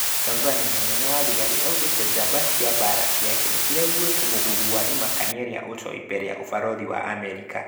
Tanzani:Munene wa thigari augĩte jamba cia mbara ciake nĩciraiguĩte mũhwa wa imakania ria ũtoi mbere ya ũbarothi wa Amerika